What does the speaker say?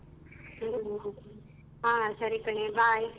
ಹ್ಮ್ ಹ ಸರಿ ಕಣೆ bye .